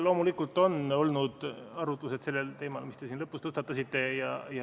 Loomulikult on olnud arutlusi sellel teemal, mis te siin lõpus tõstatasite.